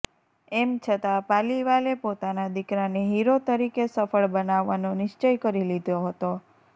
એમ છતાં પાલીવાલે પોતાના દીકરાને હીરો તરીકે સફળ બનાવવાનો નિશ્ચય કરી લીધો હતો